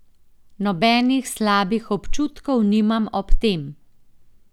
Nobenih slabih občutkov nimam ob tem.